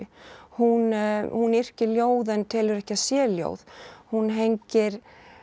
hún hún yrkir ljóð en telur ekki að sé ljóð hún hengir